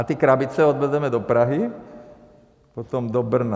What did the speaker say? A ty krabice odvezeme do Prahy, potom do Brna.